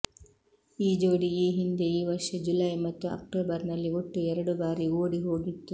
ಈ ಜೋಡಿ ಈ ಹಿಂದೆ ಈ ವರ್ಷ ಜುಲೈ ಮತ್ತು ಅಕ್ಟೋಬರ್ ನಲ್ಲಿ ಒಟ್ಟು ಎರಡು ಬಾರಿ ಓಡಿ ಹೋಗಿತ್ತು